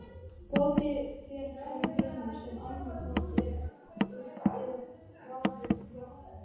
Gotið fer fram í greni, sem annað hvort er í urð eða grafið í jarðveg.